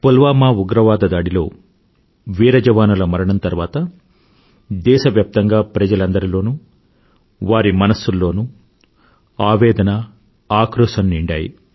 పుల్వామా ఉగ్రవాదదాడిలో వీర జవానుల మరణం తర్వాత దేశవ్యాప్తంగా ప్రజలందరిలోనూ వారి మనసుల్లోనూ ఆవేదన ఆక్రోశం నిండాయి